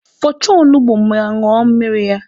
Fọchaa onugbu ma ñụọ mmiri ya!